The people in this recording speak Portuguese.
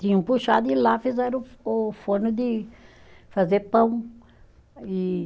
Tinha um puxado e lá fizeram o forno de fazer pão, e